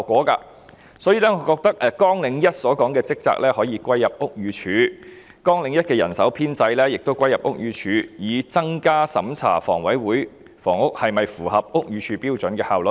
因此，我認為綱領1的職責可以歸入屋宇署，而綱領1的人手編制亦可一併歸入屋宇署，從而提升審查房委會的房屋是否符合屋宇署標準的效率。